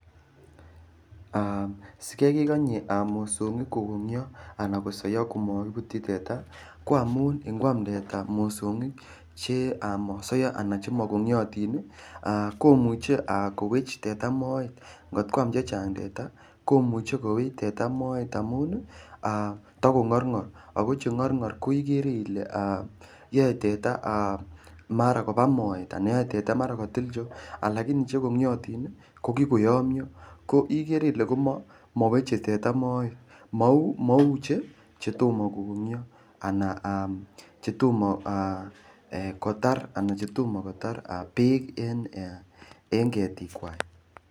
Aa sikai kekonye mosongik kokongio ana kosoiyo komakibutyi teta, ko angamun ingwam teta mosongik che aa mosoiyo ana chemakongiotin ii, aa komuche kowech teta moet. Ngot kwam che chang teta komuche kowech teta moet amun takongorngor. Ago che ngorngor koigere ile aa yoe teta mara koba moet ana yoe teta mara kotil cheo. Alakini che kongiotin ko kikoyomyo, maweche teta moet, mau chetoma kokongio ana chetomo kotar beek en ketikwak.